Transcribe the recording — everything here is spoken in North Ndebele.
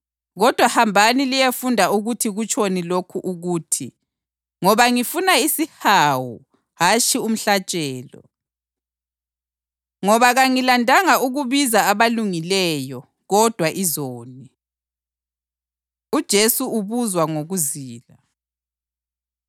Kodwa hambani liyefunda ukuthi kutshoni lokhu ukuthi, ‘Ngoba ngifuna isihawu hatshi umhlatshelo.’ + 9.13 UHosiya 6.6 Ngoba kangilandanga ukubiza abalungileyo, kodwa izoni.” UJesu Ubuzwa Ngokuzila